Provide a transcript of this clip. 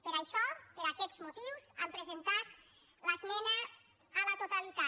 per això per aquests motius hem presentat l’esmena a la totalitat